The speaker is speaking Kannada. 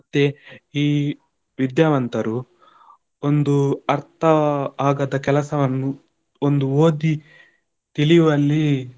ಈ ವಿದ್ಯಾವಂತರು ಒಂದು ಅರ್ಥ ಆಗದ ಕೆಲಸವನ್ನು ಒಂದು ಓದಿ ತಿಳಿಯುವಲ್ಲಿ.